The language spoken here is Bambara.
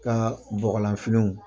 K'an ka bɔgɔlanfiniw